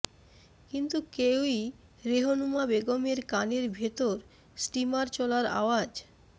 কিন্তু কেউই রেহনুমা বেগমের কানের ভেতর স্টিমার চলার আওয়াজ